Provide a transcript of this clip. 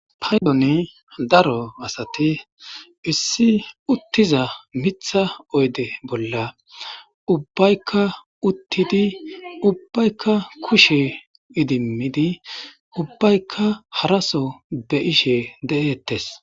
paydoni daro asati issi uttiza mitha oyde bolla ubbaykka uttidi ubbaykka kushe idimidi ubbaykka haraso beishe de7eettes